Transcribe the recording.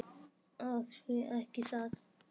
Og því ekki það.